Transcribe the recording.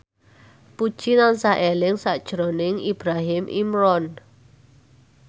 Puji tansah eling sakjroning Ibrahim Imran